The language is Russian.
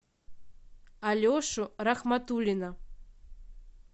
алешу рахматуллина